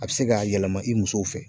A bi se k'a yɛlɛma i musow fɛ